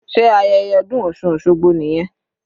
Sé ayẹyẹ ọdún osun osogbo nìyẹn?